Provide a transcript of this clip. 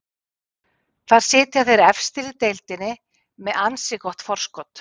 Þar sitja þeir efstir í deildinni með með ansi gott forskot.